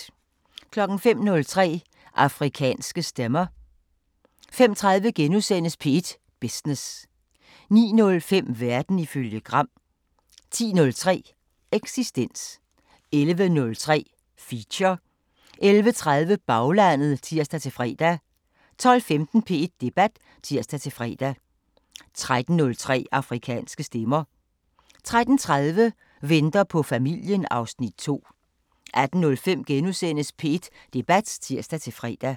05:03: Afrikanske Stemmer 05:30: P1 Business * 09:05: Verden ifølge Gram 10:03: Eksistens 11:03: Feature 11:30: Baglandet (tir-fre) 12:15: P1 Debat (tir-fre) 13:03: Afrikanske Stemmer 13:30: Venter på familien (Afs. 2) 18:05: P1 Debat *(tir-fre)